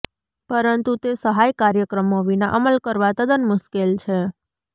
પરંતુ તે સહાય કાર્યક્રમો વિના અમલ કરવા તદ્દન મુશ્કેલ છે